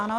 Ano.